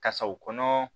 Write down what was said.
Kasaw kɔnɔ